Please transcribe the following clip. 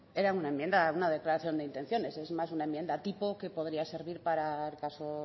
era una declaración de intenciones es más una enmienda tipo que podría servir para el caso